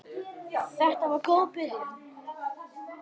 Þetta var góð byrjun.